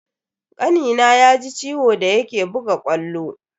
Kanina ya ji ciwo da yake buga ƙwallo.